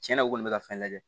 Tiɲɛna u kɔni bɛ ka fɛn lajɛ